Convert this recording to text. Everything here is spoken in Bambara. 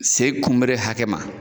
Se kunbere hakɛ ma